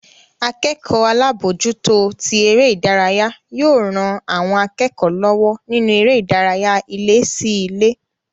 Akẹ́kọ̀ọ́ alábòójútó tí eré ìdárayá yóò ran àwọn akẹ́kọ̀ọ́ lọ́wọ́ nínú eré ìdárayá ilé sí ilé